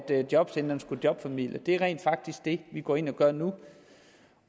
jobcentrene skulle jobformidle det er rent faktisk det vi går ind og gør nu